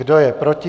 Kdo je proti?